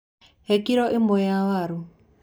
He kiro ĩmwe ya waru.